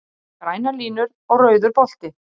Grænar línur og rauður bolti